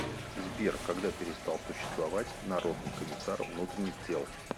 сбер когда перестал существовать народный комиссар внутренних дел